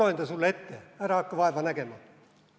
Ma loen ta sulle ette, ära hakka vaeva nägema.